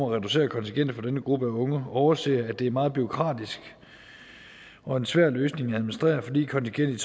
at reducere kontingentet for denne gruppe af unge overser at det er meget bureaukratisk og en svær løsning at administrere fordi kontingentet